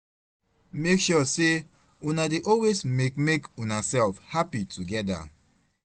mek sure sey una dey always mek mek unasef hapi togeda